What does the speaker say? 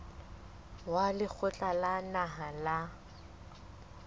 wa lekgotla la naha la